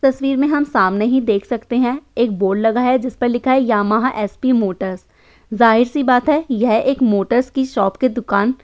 तस्वीर में हम सामने ही देख सकते हैं एक बोर्ड लगा है जिसपे लिखा है यामाहा एसपी मोटर्स जाहिर सी बात है यह एक मोटर्स की शॉप के दुकान --